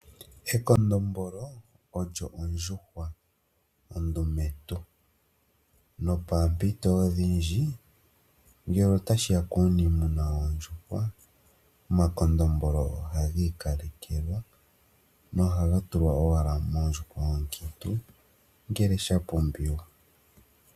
Ekondombolo olyo ondjuhwa ondumentu. Mpoompito odhindji ngele tashiya kuuniimuna woondjuhwa, omakondombolo oha gi ikalekelwa nohagatulwa moondjuhwa oonkiintu uuna sha pumbiwa.